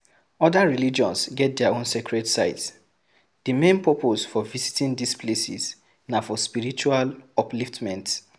Oda religions get their own sacred sites, di main purpose for visiting these places na for spiritual upliftment